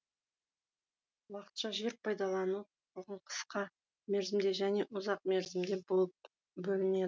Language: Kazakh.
уақытша жер пайдалану құқығын қысқа мерзімді және ұзақ мерзімді болып бөлінеді